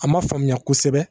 A ma faamuya kosɛbɛ